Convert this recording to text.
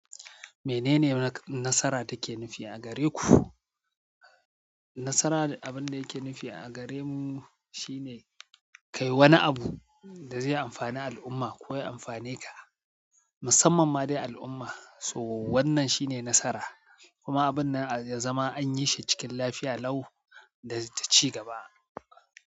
Menene nasara take nufi a gare ku? Nasara abin da yake nufi a gare mu shine ka yi wani abu da zai amfani al'umma ko ya amfane ka, musamman ma dai al'umma. To wannan shine nasara kuma abinnan ya zama anyi shi cikin lafiya lau da ci gaba.